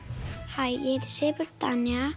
hæ ég Sigurbjörg Tanja